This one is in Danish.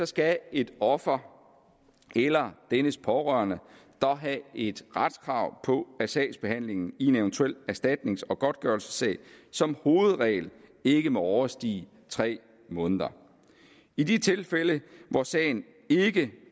skal et offer eller dennes pårørende dog have et retskrav på at sagsbehandlingen i en eventuel erstatnings og godtgørelsessag som hovedregel ikke må overstige tre måneder i de tilfælde hvor sagen ikke